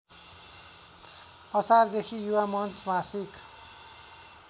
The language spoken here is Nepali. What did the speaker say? असारदेखि युवामञ्च मासिक